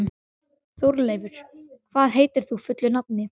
Þórleifur, hvað heitir þú fullu nafni?